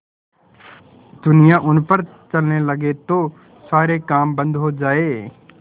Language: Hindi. दुनिया उन पर चलने लगे तो सारे काम बन्द हो जाएँ